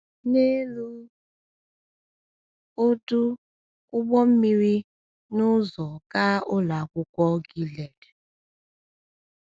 N’elu ọdụ ụgbọ mmiri n’ụzọ gaa Ụlọ Akwụkwọ Gilead.